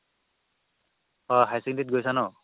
অ' higher secondary ত গৈছা ন